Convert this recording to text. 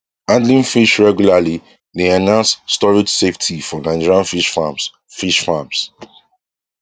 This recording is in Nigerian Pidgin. handling fish regularly dey enhance storage safety for nigerian fish farms fish farms